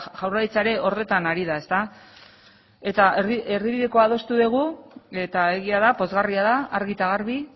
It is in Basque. jaurlaritza ere horretan ari da eta erdibidekoa adostu dugu eta egia da pozgarria da argi eta garbi